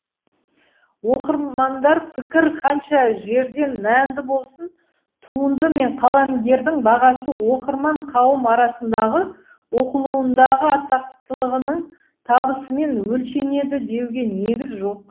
оқырмандар пікірі қанша жерден мәнді болсын туынды мен қаламгердің бағасы оқырман қауым арасындағы оқылуындағы атақтылығының табысымен өлшенеді деуге негіз жоқ